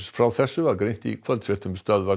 frá þessu var greint í kvöldfréttum Stöðvar